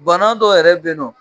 Bana dɔ yɛrɛ benɔ.